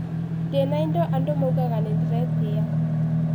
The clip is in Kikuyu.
Ndĩna indo andũ maugaga nĩ ndĩretĩya.